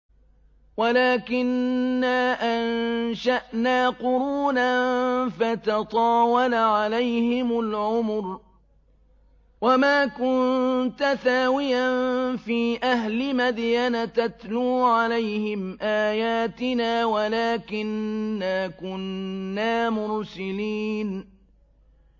وَلَٰكِنَّا أَنشَأْنَا قُرُونًا فَتَطَاوَلَ عَلَيْهِمُ الْعُمُرُ ۚ وَمَا كُنتَ ثَاوِيًا فِي أَهْلِ مَدْيَنَ تَتْلُو عَلَيْهِمْ آيَاتِنَا وَلَٰكِنَّا كُنَّا مُرْسِلِينَ